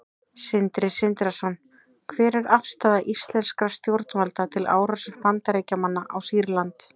Sindri Sindrason: Hver er afstaða íslenskra stjórnvalda til árásar Bandaríkjamanna á Sýrland?